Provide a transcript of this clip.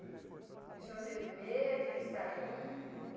E o senhor não teve medo de sair?